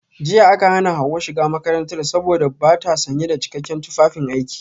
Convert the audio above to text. Jiya aka hana Hawa shiga makarantar saboda bata sanye da cikakken tufafin aiki